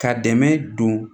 Ka dɛmɛ don